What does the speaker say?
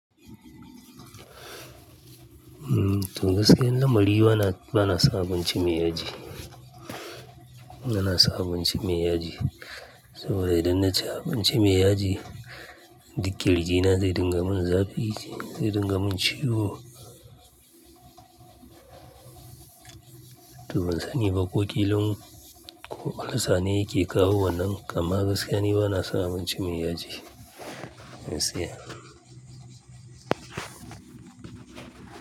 Toh gaskiyar lamari bana son abinci mai yaji. Bana son abinci mai yaji. Saboda idan na ci abinci mai yaji Duk kirjina zai dinga mun zafi zai dinga mun ciwo. Toh bansani ba ko kilan ko ulcer ne yake kawo wannan amma gaskiya ni banason abinci mai yaji gaskiya.